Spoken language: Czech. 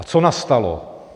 A co nastalo?